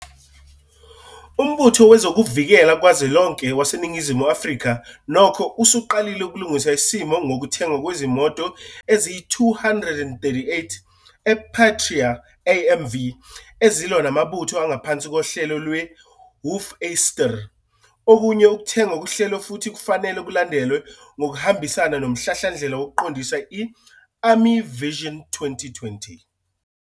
Umbutho Wezokuvikela Kazwelonke waseNingizimu Afrika nokho usuqalile ukulungisa isimo ngokuthengwa kwezimoto ezingama-238 ePatria AMV ezilwa namabutho angaphansi kohlelo "lweHoefyster". Okunye ukuthengwa kuhlelwe futhi kufanele kulandelwe ngokuhambisana nomhlahlandlela wokuqondisa - i- "Army Vision 2020".